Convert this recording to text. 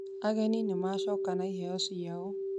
Ageni nĩ macoka na iheo ciao